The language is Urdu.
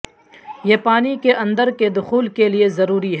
یہ پانی کے اندر کے دخول کے لئے ضروری ہے